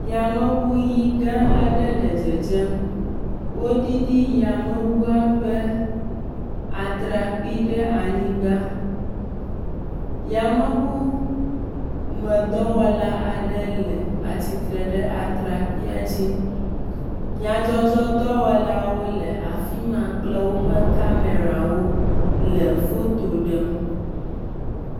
Yameŋu ʋi gã aɖewo le dzedzem, wodidi yameŋua ƒe atrakpui ɖe anyigba yameŋu medɔwɔla aɖe le tsitre ɖe atrakpuia dzi, nyadzɔdzɔdɔwɔlawo le afi ma kple woƒe kamera le foto ɖem.